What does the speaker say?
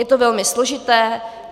Je to velmi složité.